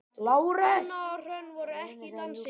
Anna og Hrönn voru ekki í dansi.